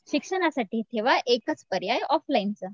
शिक्षणासाठी ठेवा एकच पर्याय ऑफलाईनचा.